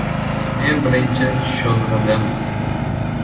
Men birinchi sho‘ng‘idim.